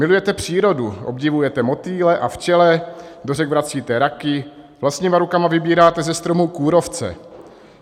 Milujete přírodu, obdivujete motýle a včele, do řek vracíte raky, vlastníma rukama vybíráte ze stromů kůrovce.